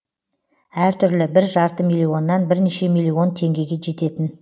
әртүрлі бір жарты миллионнан бірнеше миллион теңгеге жететін